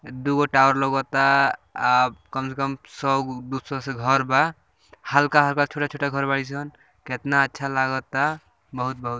दुगो टावर लउकता | अ कम से कम सौ ग दुसौ से घर बा हल्का-हल्का छोटा-छोटा घर बाड़ी सं कितना अच्छा लगता बहुत बहु--